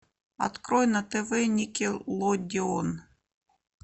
открой на тв никелодион